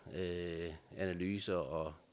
analyser og